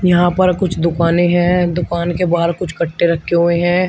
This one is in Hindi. यहां पर कुछ दुकानें हैं दुकान के बाहर कुछ कट्टे रखे हुए हैं।